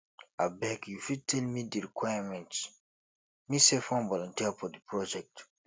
abeg you fit tell me di requirements me sef wan voluteer for di project